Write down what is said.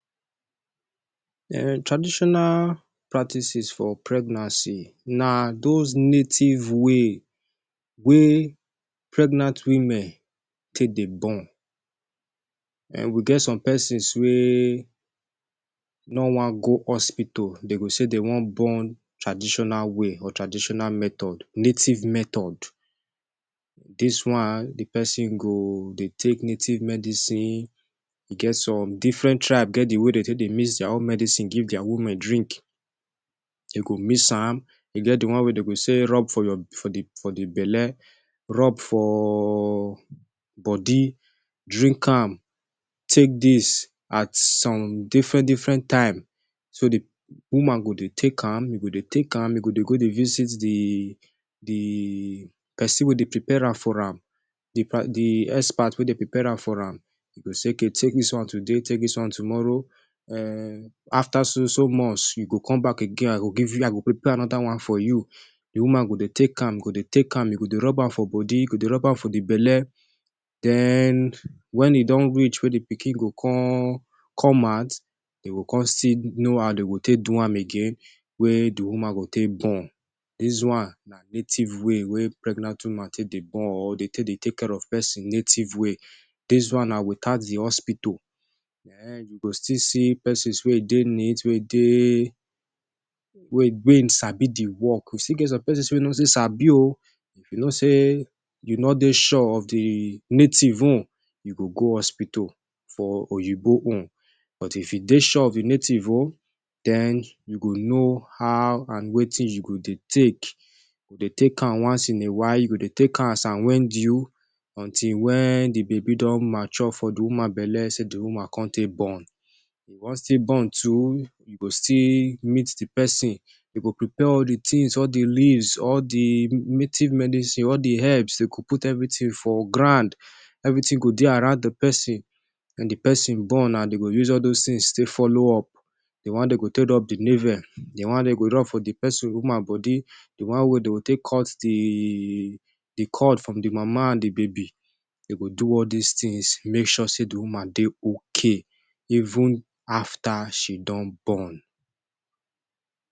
Traditional practices for pregnancy na dos native way wey pregnant women take dey born. We get some pesins wey no wan go hospital, dey go say dem wan born traditional way or traditional method, native method. Dis one, di pesin go dey take native medicine. E get some, diffren tribe get di way dem take dey mix dia own medicine give dia women drink. Dem go mix am, e get di one wey dem go say rub for di belle, rub for body, drink am, take dis at some diffren diffren time. So di woman go dey take am, you go dey take am, e go dey go dey visit di pesin wey dey prepare am for am. Di expert wey dey prepare am for am, e go say, Take dis one today, take dis one tomorrow. After so so months, you go come back again. I go give you, I go prepare anoda one for you. Di woman go dey take am, go dey take am, e go dey rub am for body, go dey rub am for di belle. Den wen e don reach wey di pikin go come out, e go come still know how dem go take do am again wey di woman go take born. Dis one na native way wey pregnant woman take dey born or dey take care of pesin native way. Dis one na without di hospital. Ehen, you go still see pesins wey dey neat, wey sabi im di work. We still get some pesin wey no still say sabi oh. You know say you no dey sure of di native own, you go go hospital for oyinbo own. But, if dey sure of di native own, den you go know how and wetin you go dey take, dey take am. Once in a while, you go dey take am as wen due, until wen di baby don mature for di woman belle, say di woman come take born. If you wan still born too, you go still meet di pesin. im go prepare all di tins, all di leaves, all di native medicine, all di herbs, dem go put evritin for ground. Evritin go dey around di pesin. Wen di pesin born, na dem go use all dos tins take follow up. Di one dem go take rub di navel, di one dem go run for di pesin woman body, di one wey dem go take cut di cord from di mama and di baby. Dem go do all dis tins make sure say di woman dey okay, even after she don born.